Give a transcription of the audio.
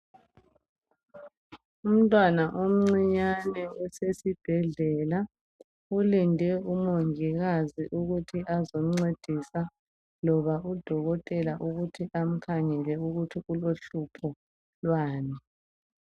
Umntwana omncinyane osesibhedlela ulinde umongikazi ukuthi azomncedisa loba udokotela ukuthi amkhangela ukuthi ulohlupho lwani.